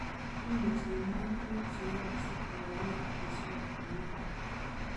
Imuchi imwaa tuguk che yooksei kokakony keswot komye